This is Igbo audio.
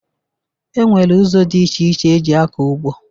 E nwere ụzọ dị iche iche eji akọ ugbo